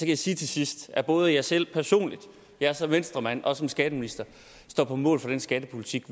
jeg sige til sidst at både jeg selv personligt jeg er så venstremand og som skatteminister står på mål for den skattepolitik